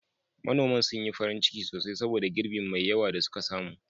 Manoman sun yi farin ciki sosai saboda girbin mai yawa da suka samu.